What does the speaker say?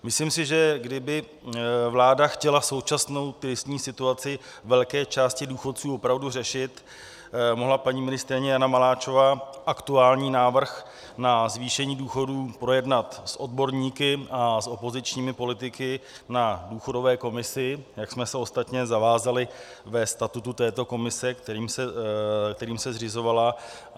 Myslím si, že kdyby vláda chtěla současnou tristní situaci velké části důchodců opravdu řešit, mohla paní ministryně Jana Maláčová aktuální návrh na zvýšení důchodů projednat s odborníky a s opozičními politiky na důchodové komisi, jak jsme se ostatně zavázali ve statutu této komise, kterým se zřizovala.